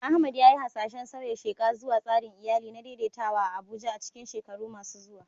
Ahmad ya yi hasashen sauya sheƙa zuwa tsarin iyali na daidaitawa a Abuja a cikin shekaru masu zuwa.